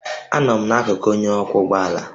Anọ m n'akụkụ onye ọkwọ ụgbọ ala